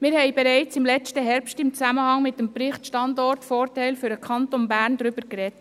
Wir haben bereits im letzten Herbst im Zusammenhang mit dem Bericht «Standortvorteil für den Kanton Bern» () darüber gesprochen.